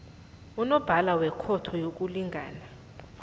unobhala wekhotho yokulingana